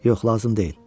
Yox, lazım deyil.